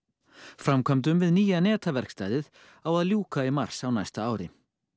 framkvæmdum við nýja netaverkstæðið á að ljúka í mars á næsta ári